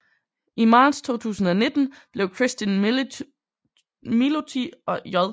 I marts 2019 blev Cristin Milloti og J